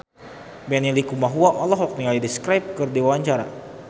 Benny Likumahua olohok ningali The Script keur diwawancara